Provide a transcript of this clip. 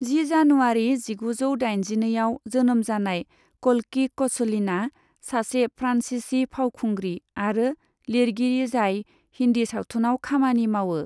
जि जानुवारी जिगुजौ दाइनजिनैआव जोनोम जानाय क'ल्कि क'चलिना सासे फ्रान्सीसी फावखुंग्रि आरो लिरगिरि जाय हिन्दी सावथुनाव खामानि मावो।